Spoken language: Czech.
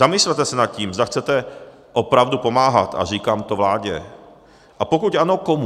Zamyslete se nad tím, zda chcete opravdu pomáhat, a říkám to vládě, a pokud ano, komu.